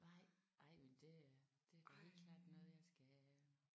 Nej ej men det er det er da helt klart noget jeg skal